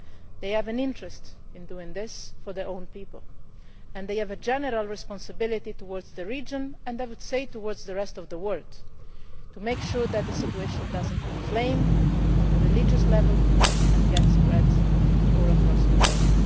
They have an interest in doing this for their own people and they have a general responsibility towards the region and the rest of the word to make sure that the situation does not inflame on the religious level and spread across the globe.